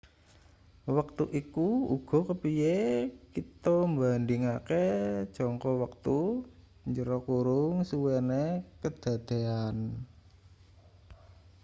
wektu iku uga kepiye kita mbandhingake jangka wektusuwene kedadean